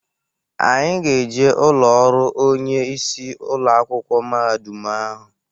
Anyị ga-eje ụlọrụ onye isi ụlọakwụkwọ mahadum ahụ.